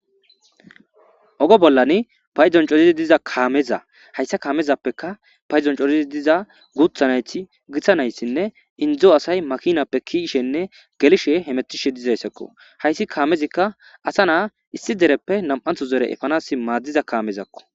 Oge bolla paydon coridi diza kaameza hayssa kaamezappekka paydon coridi diza guuththa nayti gita naytinne inddo asay makinappe ke'ishe gelishenne hemetishe dizayssa qonccisizayssakko. Hayssi kaamezikka asa na'a issi dereppe nami'anththo dere efanaas maaddiza kaamezakko.